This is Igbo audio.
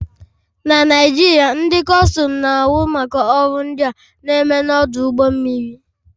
Na Naijiria, ndị Kustum na-ahụ maka ọrụ ndị a na-eme n'ọdụ ụgbọ mmiri